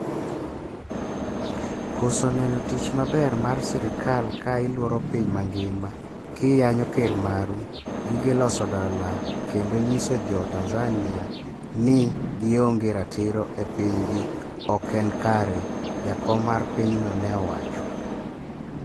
"koso neno tich maber mar sirikal ka ilworo piny mangima ki yanyo ker maru, gige loso dola, kendo nyiso jo tanzania ni gionge ratiro e piny gi ok en kare," jakom mar pinyno ne owacho